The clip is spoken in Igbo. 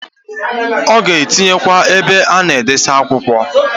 Oga etinye kwa ebe ana edosi akwukwọ,